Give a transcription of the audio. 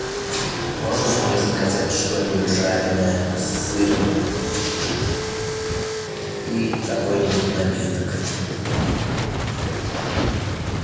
можешь мне заказать что нибудь жареное с сыром и какой нибудь напиток